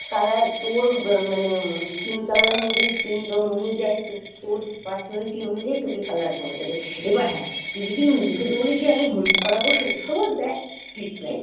color তোর হম মানে skin color অনুযায়ী skin tone অনুযায়ী তো তোর personality অনুযায়ী তোকে color করে দেবে এবার হ্যাঁ তুই যদি নিজে থেকে বলিস যে আমি হলুদ করাবো সবুজ তাহলে that's different.